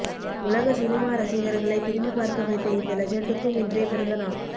உலக சினிமா ரசிகர்களை திரும்பிப் பார்க்க வைத்த இந்த லெஜண்டுக்கும் இன்றே பிறந்தநாள்